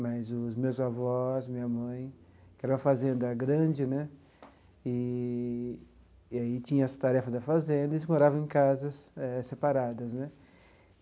Mas os meus avós, minha mãe, que era uma fazenda grande né, e e aí tinha as tarefas da fazenda, eles moravam em casas eh separadas né.